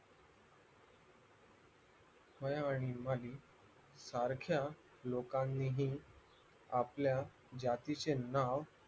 माया आणि माही सारख्या लोकानीही आपल्या जातीचे नाव